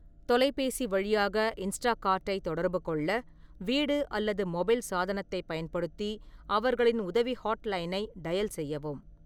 தொலைபேசி வழியாக இன்ஸ்டாகார்ட்டைத் தொடர்பு கொள்ள, வீடு அல்லது மொபைல் சாதனத்தைப் பயன்படுத்தி அவர்களின் உதவி ஹாட்லைனை டயல் செய்யவும்.